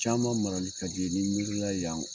Caman marali ka di ne ye n'i miiri la yan